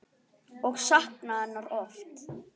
Og saknaði hennar oft.